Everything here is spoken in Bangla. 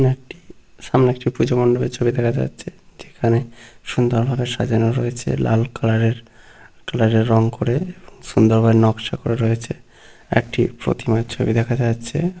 সামনে একটি পুজো মন্ডলের ছবি দেখা যাচ্ছে । যেখানে সুন্দরভাবে সাজানো রয়েছে লাল কালার -এর কালার -এর রং করে সুন্দরভাবে নকশা করে রয়েছে একটি প্রতিমার ছবি দেখা যাচ্ছে।